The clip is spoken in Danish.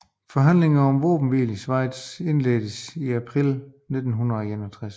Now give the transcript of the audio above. Forhandlinger om våbenhvile i Schweiz indledtes i april 1961